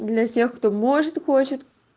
для тех кто может хочет